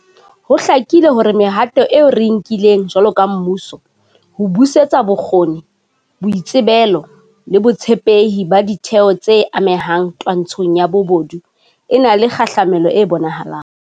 Ho hlakile hore mehato eo re e nkileng jwalo ka mmuso ho busetsa bokgoni, boitsebelo le botshepehi ba ditheo tse amehang twantshong ya bobodu e na le kgahlamelo e bonahalang.